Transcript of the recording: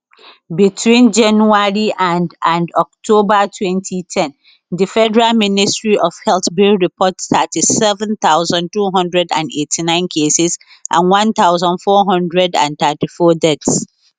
between january and and october 2010 di federal ministry of health bin report 37289 cases and 1434 deaths